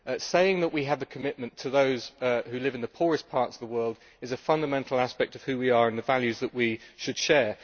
saying that we have a commitment to those who live in the poorest parts of the world is a fundamental aspect of who we are and the values that we should share.